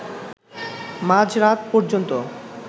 মাঝরাত পর্যন্ত